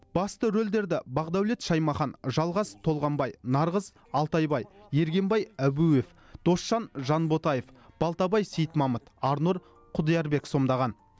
басты рөлдерді бағдәулет шаймахан жалғас толғанбай нарғыз алтайбай ергенбай әбуев досжан жанботаев балтабай сейітмамыт арнұр құдиярбек сомдаған